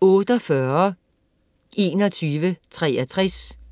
48.2163